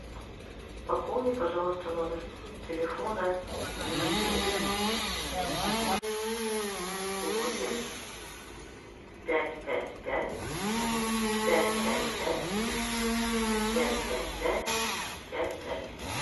пополни пожалуйста номер телефона вити восемь пять пять пять пять пять пять пять пять пять пять пять